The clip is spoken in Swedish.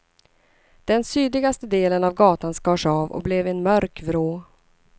Den sydligaste delen av gatan skars av och blev en mörk vrå.